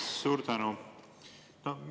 Suur tänu!